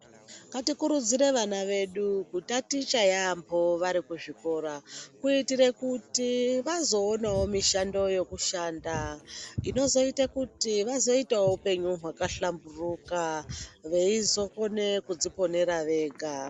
Ngatikurudzire vana vedu kutaticha yamho varikuzvikora kuitire kuti vazoonewo mishando yekushanda inozoite kuti vazoitawo upenyu hwakhlamburuka veizokone kudziponera vega.